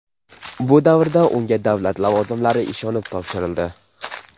Bu davrda unga davlat lavozimlari ishonib topshirildi.